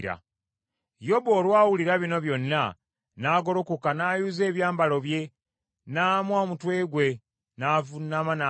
Yobu olwawulira bino byonna, n’agolokoka n’ayuza ebyambalo bye n’amwa omutwe gwe, n’avuunama n’asinza: